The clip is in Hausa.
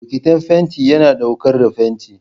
Bokitin fenti yana ɗaukar fenti.